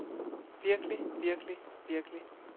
virkelig virkelig virkelig